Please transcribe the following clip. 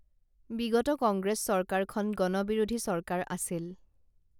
বিগত কংগ্ৰেছ চৰকাৰখন গণবিৰোধী চৰকাৰ আছিল